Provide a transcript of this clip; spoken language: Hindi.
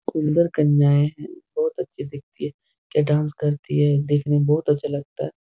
सुन्दर कन्याऐं हैं। बहुत अच्छी दिखती है क्या डांस करती है। दिखने में बहुत अच्छा लगता है।